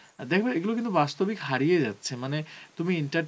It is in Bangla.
দেখবে এগুলো কিন্তু বাস্তবিক হারিয়ে যাচ্ছে মানে তুমি enter